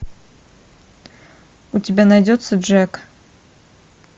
у тебя найдется джек